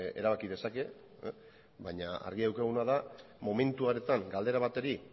erabaki dezake baina argi daukaguna da momentu hartan galdera bateri